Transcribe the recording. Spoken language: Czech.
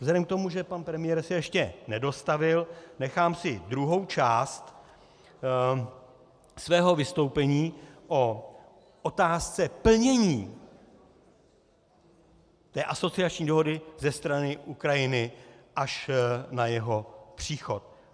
Vzhledem k tomu, že pan premiér se ještě nedostavil, nechám si druhou část svého vystoupení o otázce plnění té asociační dohody ze strany Ukrajiny až na jeho příchod.